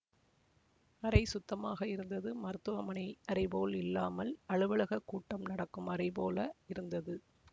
அறை சுத்தமாக இருந்தது மருத்துவ மனை அறைபோல் இல்லாமல் அலுவலக கூட்டம் நடக்கும் அறை போல இருந்தது